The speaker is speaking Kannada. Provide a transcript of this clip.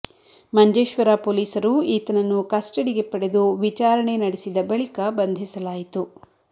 ಮಂಜೇಶ್ವರ ಪೊಲೀಸರು ಈತನನ್ನು ಕಸ್ಟಡಿಗೆ ಪಡೆದು ವಿಚಾರಣೆ ನಡೆಸಿದ ಬಳಿಕ ಬಂಧಿಸಲಾಯಿತು